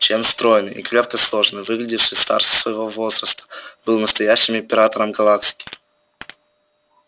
чен стройный и крепко сложенный выглядевший старше своего возраста был настоящим императором галактики